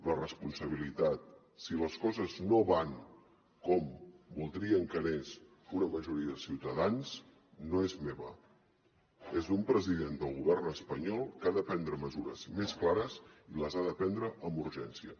la responsabilitat si les coses no van com voldríem que anessin una majoria de ciutadans no és meva és d’un president del govern espanyol que ha de prendre mesures més clares i les ha de prendre amb urgència